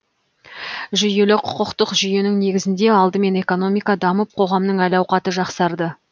жүйелі құқықтық жүйенің негізінде алдымен экономика дамып қоғамның әл ауқаты жақсарды